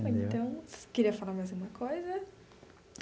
Então, você queria falar mais alguma coisa?